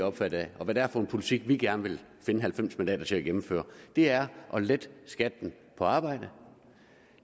optaget af og hvad det er for en politik vi gerne vil finde halvfems mandater til at gennemføre det er at lette skatten på arbejde